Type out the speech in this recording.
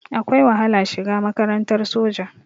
Akwai wahala shiga makarantar soja.